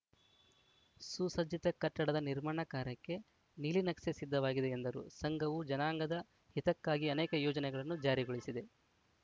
ಸುಸಜ್ಜಿತ ಕಟ್ಟಡದ ನಿರ್ಮಾಣ ಕಾರ್ಯಕ್ಕೆ ನೀಲಿನಕ್ಷೆ ಸಿದ್ಧವಾಗಿದೆ ಎಂದರು ಸಂಘವು ಜನಾಂಗದ ಹಿತಕ್ಕಾಗಿ ಅನೇಕ ಯೋಜನೆಗಳನ್ನು ಜಾರಿಗೊಳಿಸಿದೆ